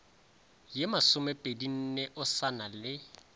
ye masomepedinne o sa na